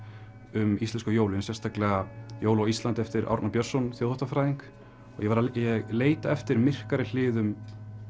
um íslensku jólin sérstaklega jól á Íslandi eftir Árna Björnsson þjóðháttafræðing ég var að leita eftir myrkari hliðum